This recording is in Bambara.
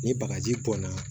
Ni bagaji bɔnna